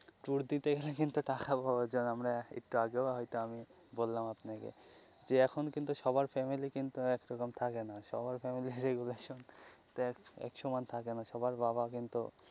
tour দিতে গেলে কিন্তু টাকার প্রয়োজন আমরা একটু আগেও হয় তো আমি বললাম আপনাকে যে এখন কিন্তু সবার ফ্যামিলি কিন্তু একরকম থাকে না সবার ফ্যামিলির তো এক সমান থাকে না সবার বাবা কিন্তু.